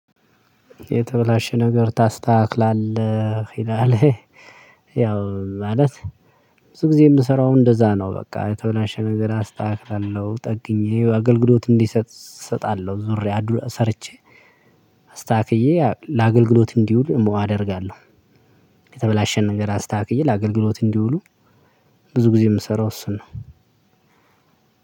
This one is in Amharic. የተበላሸ ነገር ታስተካክላለህ ይላል? ያው ማለት ብዙ ጊዜ የምሰራው እንደዛ ነው። በቃ የተበላሸ ነገር አስተካክላለሁ ጠግኜ አገልሎት እንዲሰጥ እሰጣለሁ ዞሬ ሰርቸ አስተካክየ ለአገልግሎት እንዲውል አደርጋለሁ። የተበላሸ ነገር አስተካክዬ ለአገልግሎት እንዲውሉ። ብዙ ጊዜ የምሰራው እሱን ነው።